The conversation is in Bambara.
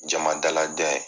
Jama dalajɛ ye